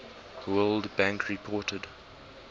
world bank reported